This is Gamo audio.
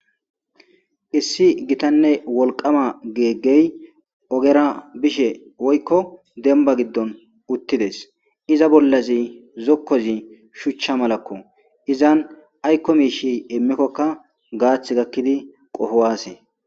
Issi gitanne wolqama geeggey ogera bishe woykko demba giddon uttides iza bollazi zokkozi shuchcha malakko izan aykko miishi immikkokka gaath gakkidi qofowaase.